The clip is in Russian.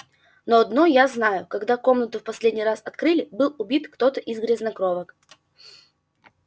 но одно я знаю когда комнату в последний раз открыли был убит кто-то из грязнокровок